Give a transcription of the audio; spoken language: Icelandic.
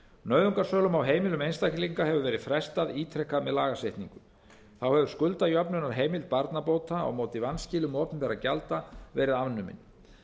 nauðungarsölum á heimilum einstaklinga hefur verið frestað ítrekað með lagasetningu þá hefur skuldajöfnunarheimild barnabóta á móti vanskilum opinberra gjalda verið afnumin